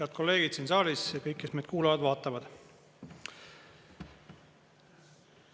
Head kolleegid siin saalis ja kõik, kes meid kuulavad-vaatavad!